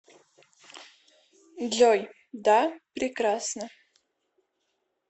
джой да прекрасно